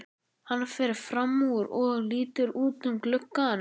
Hann fer fram úr og lítur út um gluggann.